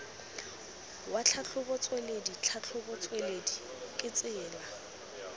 wa tlhatlhobotsweledi tlhatlhobotsweledi ke tsela